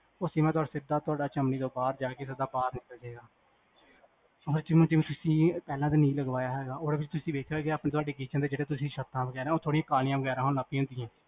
ਤੁਹਾਡਾ ਚਿਮ੍ਨੀ ਤੋ ਬਾਹਰ ਜਾ ਸਿਧਾ ਬਾਹਰ ਨਿਕਲ ਜਾਏਗਾ ਜਿਵੇ ਤੁਸੀਂ ਪਹਿਲਾ ਨਹੀਂ ਲਗਵਾਇਆ ਤੁਸੀਂ ਦੇਖਿਆ ਹੋਣਾ kitchen ਦੀਆ ਛੱਤ ਕਾਲੀਆਂ ਹੋਣੇ ਲੱਗ ਪਾਇਆ ਹੁੰਦੀਆਂ